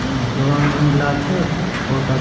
उम्म रंग नीला छै बहुत आ --